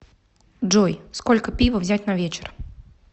джой сколько пива взять на вечер